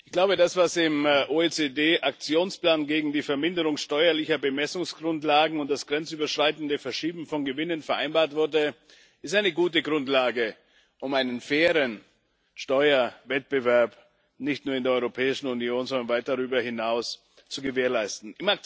Ich glaube, das, was im OECD Aktionsplan gegen die Verminderung steuerlicher Bemessungsgrundlagen und das grenzüberschreitende Verschieben von Gewinnen vereinbart wurde, ist eine gute Grundlage, um einen fairen Steuerwettbewerb nicht nur in der Europäischen Union, sondern weit darüber hinaus zu gewährleisten.